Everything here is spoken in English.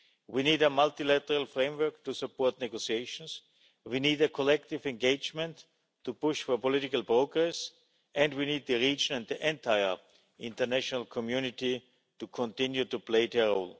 We need a multilateral framework to support negotiations, we need a collective engagement to push for political progress and we need the region and the entire international community to continue to play their role.